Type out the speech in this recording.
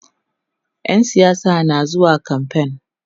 ƴan siyasa na zuwa kamfain